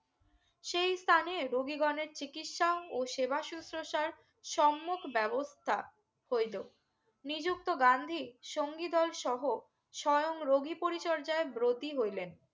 সেই স্থানে রোগী গনের চিকিৎসা ও সেবা সুসোসার সম্মুখ ব্যবস্থা হইলো নিযুক্ত গান্ধী সঙ্গীদ্বয় সহ স্বয়ং রোগী পরিচর্যা বর্তি হইলেন